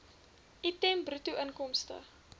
item bruto inkomste